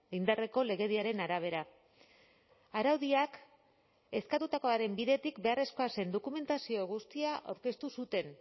indarreko legediaren arabera araudiak eskatutakoaren bidetik beharrezkoa zen dokumentazio guztia aurkeztu zuten